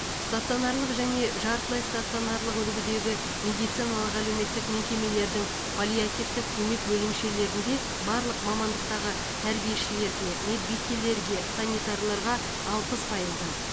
стационарлық және жартылай стационарлық үлгідегі медициналық әлеуметтік мекемелердің паллиативтік көмек бөлімшелерінде барлық мамандықтағы тәрбиешілерге медбикелерге санитарларға алпыс пайыздан